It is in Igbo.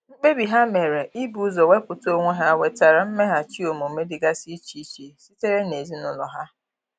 Mkpebi ha mere ibu ụzọ wepụta onwe ha nwetara mmeghachi omume dịgasi iche iche sitere n'ezinụlọ ha.